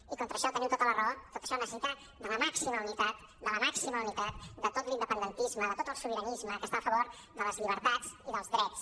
i contra això teniu tota la raó tot això necessita la màxima unitat la màxima unitat de tot l’independentisme de tot el sobiranisme que està a favor de les llibertats i dels drets